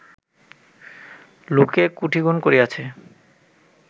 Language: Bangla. লোকে কোটি গুণ করিয়াছে